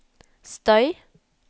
støy